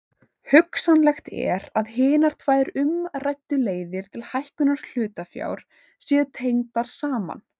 Hugsanlegt er að hinar tvær umræddu leiðir til hækkunar hlutafjár séu tengdar saman.